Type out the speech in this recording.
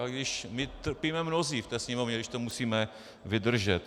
I když my trpíme mnozí v té sněmovně, když to musíme vydržet.